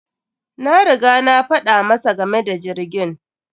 Na riga na faɗa masa game da jirgin.